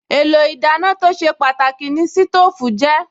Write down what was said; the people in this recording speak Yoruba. Èlò ìdáná tó ṣe pàtàkì ni sítóòfù jẹ́